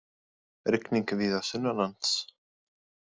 Rigning víða sunnanlands